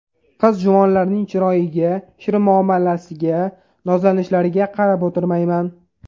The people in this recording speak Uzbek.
Qiz-juvonlarning chiroyiga, shirin muomalasiga, nozlanishlariga qarab o‘tirmayman.